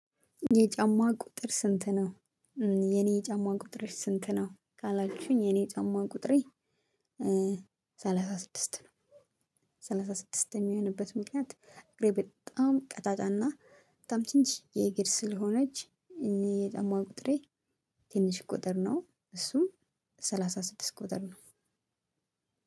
የጫማ ቁጥር ስንት ነው? እ የኔ የጫማ ቁጥር ስንት ነው ካላችሁኝ የኔ የጫማ ቁጥሬ እ ሰላሳ ስድስት ነው። ሰላሳ ስድስት የሚሆንበት ምክንያት እግሬ በጣም ቀጫጫና በጣም ትንሽዬ እግር ስለሆነች የጫማው ቁጥሬ ትንሽ ቁጥር ነው እሱም ሰላሳ ስድስት ቁጥር ነው።